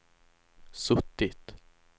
suttit